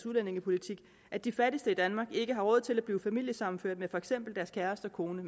udlændingepolitik at de fattigste i danmark ikke har råd til at blive familiesammenført med for eksempel deres kæreste kone